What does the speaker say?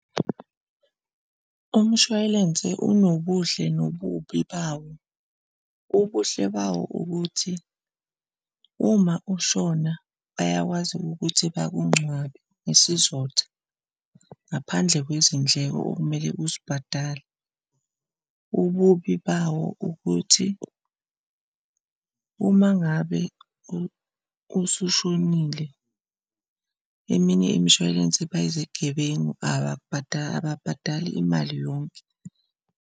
Umshwalense unobuhle nobubi bawo. Ubuhle bawo ukuthi, uma ushona bayakwazi ukuthi bakungcwabe ngesizotha, ngaphandle kwezindleko okumele uzibhadale. Ububi bawo ukuthi, uma ngabe usushonile, eminye imishwalense bayizigebengu ababhadali imali yonke.